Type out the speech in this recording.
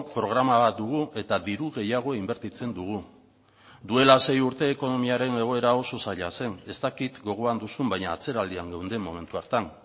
programa bat dugu eta diru gehiago inbertitzen dugu duela sei urte ekonomiaren egoera oso zaila zen ez dakit gogoan duzun baina atzeraldian geunden momentu hartan